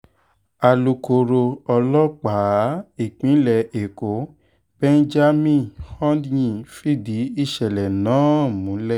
alūkkóró ọlọ́pàá ìpínlẹ̀ èkó benjamin hondyin fìdí ìṣẹ̀lẹ̀ náà múlẹ̀